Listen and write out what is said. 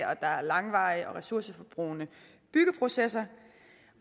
at der er langvarige og ressourceforbrugende byggeprocesser